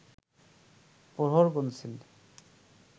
প্রহর গুনছেন